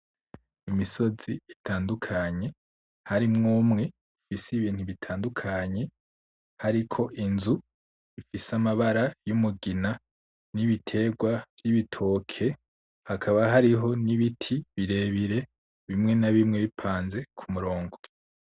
Imisozi itandukanye harimwo umwe ufise ibintu bitandukanye hariko inzu ifise amabara yumugina nibiterwa vyibitoke , hakaba hariho nibiti birebire bimwe na bimwe bipanze kumurongo .